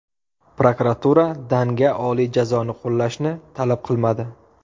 Prokuratura Dannga oliy jazoni qo‘llashni talab qilmadi.